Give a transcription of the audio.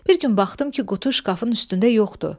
Bir gün baxdım ki, qutu şkafın üstündə yoxdu.